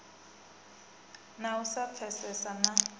na u sa pfesesana na